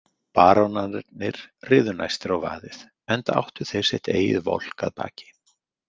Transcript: Barónarnir riðu næstir á vaðið, enda áttu þeir sitt eigið volk að baki.